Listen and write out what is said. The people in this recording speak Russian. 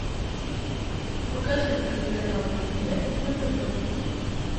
покажи телеканал премьер на тв